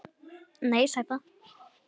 Nei, sæta.